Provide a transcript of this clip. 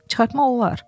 Çıxartmaq olar.